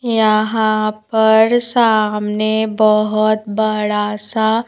यहां पर सामने बहोत बड़ा सा--